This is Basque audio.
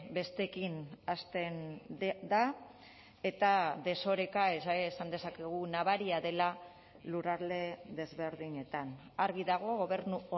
besteekin hasten da eta desoreka esan dezakegu nabaria dela lurralde desberdinetan argi dago gobernu